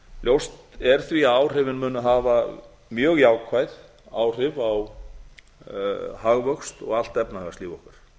ljóst er því að áhrifin munu hafa mjög jákvæð áhrif á hagvöxt og allt efnahagslíf okkar